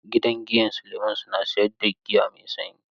Gidan giyan Suleman suna siyar da giya mai sanyi.